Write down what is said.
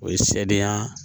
O ye sariya